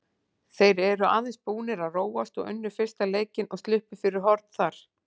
Þeir eru aðeins búnir að róast og unnu fyrsta leikinn og sluppu fyrir horn þar.